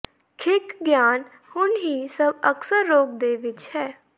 ਖਿਖਗਆਨ ਹੁਣ ਹੀ ਸਭ ਅਕਸਰ ਰੋਗ ਦੇ ਵਿੱਚ ਹੈ